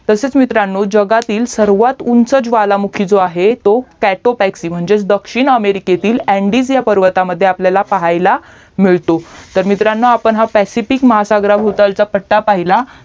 तसेच मित्रांनो जगातील सर्वात उंच ज्वालामुखी जो आहे तो काकोटकसी दक्षिण अमेरिकेतील अंडीज ह्या पर्वतामद्धे आपल्याला पाहायाला मिळतो तर मित्रांनो आपण ह्या पॅसिफिक महासागराच्या पट्टा पहिला